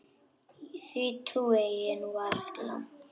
Því trúi ég nú varla.